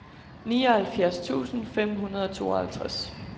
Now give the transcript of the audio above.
nioghalvfjerds tusind fem hundrede og treoghalvtreds